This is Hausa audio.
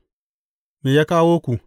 Me ya kawo ku?